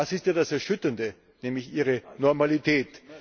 Das ist ja das Erschütternde, nämlich ihre Normalität.